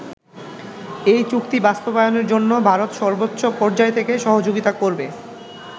এই চুক্তি বাস্তবায়নের জন্য ভারত সর্বোচ্চ পর্যায় থেকে সহযোগিতা করবে।